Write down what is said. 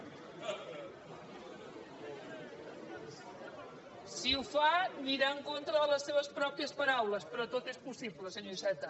si ho fa anirà en contra de les seves pròpies paraules però tot és possible senyor iceta